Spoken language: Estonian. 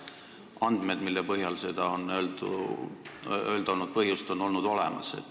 Andmed, mille põhjal on olnud põhjust seda öelda, on olnud olemas.